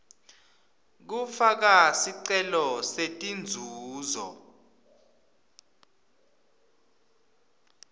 kufaka sicelo setinzuzo